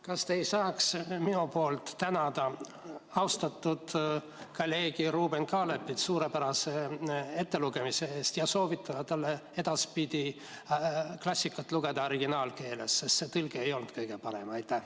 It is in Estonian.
Kas te ei saaks minu poolt tänada austatud kolleegi Ruuben Kaalepit suurepärase ettelugemise eest ja soovitada talle edaspidi klassikat lugeda originaalkeeles, sest see tõlge ei olnud kõige parem?